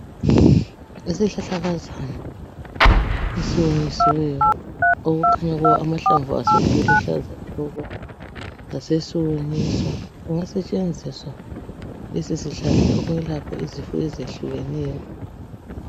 isihlahlakazana esiwonyisiweyo okukhanya kuwo amahlamvu aso eluhlaza tshoko sasesiwonyiswa siyasetshenziswa lesi sihlahla ukwelapha izifo ezehlukeneyo